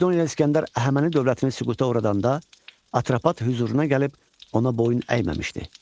Makedoniyalı İsgəndər Əhəməni dövlətini süquta uğradanda Atropat hüzuruna gəlib ona boyun əyməmişdi.